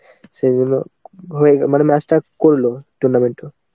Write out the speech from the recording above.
সেই জন্য মানে match টা করলো tournament টা.